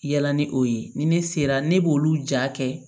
Yala ni o ye ni ne sera ne b'olu ja kɛ